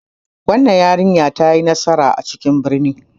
Wannan yarinyar ta yi nasara a cikin birni.